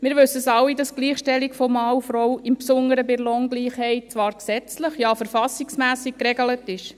Wir wissen alle, dass die Gleichstellung von Mann und Frau, insbesondere bei der Lohngleichheit, zwar gesetzlich, ja verfassungsmässig geregelt ist.